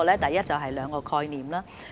第一，這是兩個概念。